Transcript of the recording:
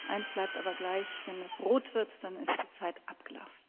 Eines bleibt aber gleich Wenn es rot wird, dann ist die Zeit abgelaufen.